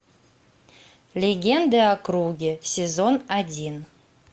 легенды о круге сезон один